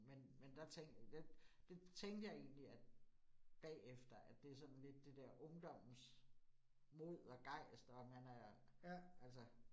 Men men der tænkte det det tænkte jeg egentlig, at bagefter, at det sådan lidt det der ungdommens mod og gejst, og man er altså